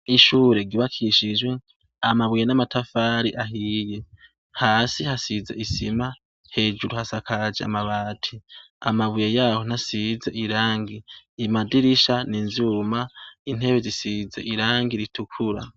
ishure ry'ubakishijwe amabuye n'amatafari ahiye hasi hasize isima, hejuru hasakaje amabati amabuye yaho ntasize irangi imadirisha n'ivyuma intebe zisize irangi ritukura